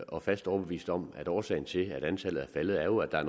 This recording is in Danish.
og fast overbevist om at årsagen til at antallet er faldet jo er